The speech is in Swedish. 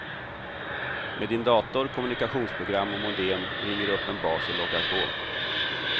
Med din dator, kommunikationsprogram och modem ringer du upp en bas och loggar på.